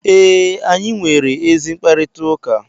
ee, anyị nwere ezi mkparịta ụka